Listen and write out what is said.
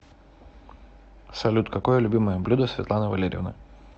салют какое любимое блюдо светланы валерьевны